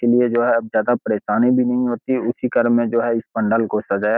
इसलिए अब जो है ज्यादा परेशानी भी नहीं होती है। इसी घर में जो है पंडाल को सजाया --